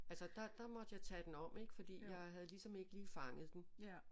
Altså der måtte jeg tage den om ik fordi jeg havde ligesom ikke lige fanget den